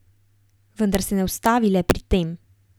Vendar se ne ustavi le pri tem.